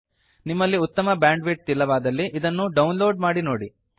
ನಿಮ್ಮಲ್ಲಿ ಉತ್ತಮ ಬ್ಯಾಂಡ್ವಿಡ್ತ್ ಇಲ್ಲವಾದಲ್ಲಿ ಇದನ್ನು ಡೌನ್ ಲೋಡ್ ಮಾಡಿ ನೋಡಿ